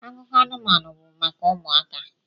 Akụkọ anụmanụ bụ maka ụmụaka